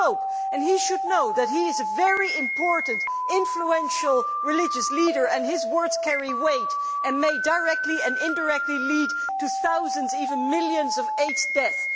The Pope should know that he is a very important, influential religious leader and that his words carry weight and may directly and indirectly lead to thousands, even millions, of AIDS deaths.